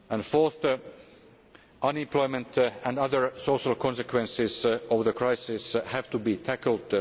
Fourth, unemployment and other social consequences of the crisis have to be tackled.